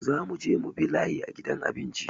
Za mu je mu bi layi a gidan abinci